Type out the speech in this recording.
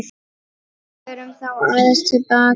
Förum þá aðeins til baka.